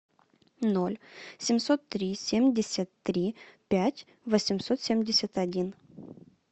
ноль семьсот три семьдесят три пять восемьсот семьдесят один